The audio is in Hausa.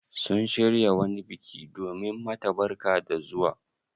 Sun shirya wani biki domin mata barka da zuwa?